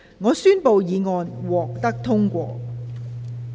我宣布議案獲得通過。